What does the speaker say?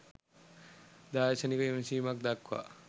දාර්ශනික විමසීමක් දක්වා